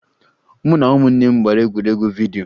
Mụ na ụmụnne m gbara egwuregwu vidyo